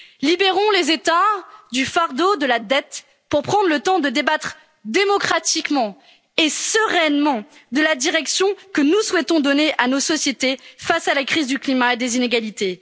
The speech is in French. marché. Libérons les États du fardeau de la dette pour prendre le temps de décider sereinement de la direction que nous souhaitons donner à nos sociétés face à la crise du climat et des inégalités.